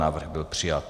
Návrh byl přijat.